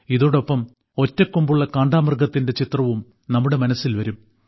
ഇതോടൊപ്പം ഒറ്റക്കൊമ്പുള്ള കാണ്ടാമൃഗത്തിന്റെ ചിത്രവും നമ്മുടെ മനസ്സിൽ വരും